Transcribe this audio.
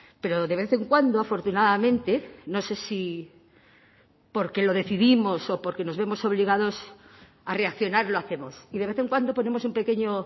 pero de vez en cuando afortunadamente no sé si porque lo decidimos o porque nos vemos obligados a reaccionar lo hacemos y de vez en cuando ponemos un pequeño